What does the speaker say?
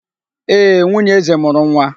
Ee, nwunye eze mụrụ nwa.